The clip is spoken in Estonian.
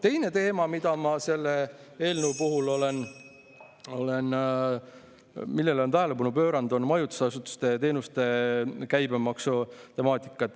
Teine teema, millele ma selle eelnõu puhul olen tähelepanu pööranud, on majutusasutuste teenuste käibemaksu temaatika.